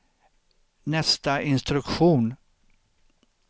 nästa instruktion